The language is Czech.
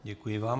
Děkuji vám.